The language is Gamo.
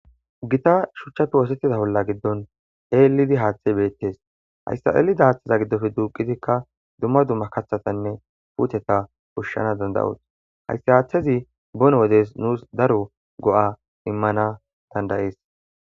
Gita shuchchappe oosettiza bolla giddon eelidi haaththey beettes hayssa'eelida haaththeza giddofe duuqitikka dumma dumma kathatanne puuteta pushshana dandayoos hayssi haaththezi bon wodes nuus daro go'a immana dandayees.